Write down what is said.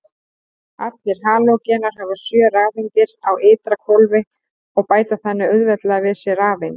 Allir halógenar hafa sjö rafeindir á ytra hvolfi og bæta þannig auðveldlega við sig rafeind.